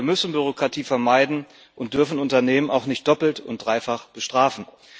Wir müssen Bürokratie vermeiden und dürfen Unternehmen auch nicht doppelt und dreifach bestrafen.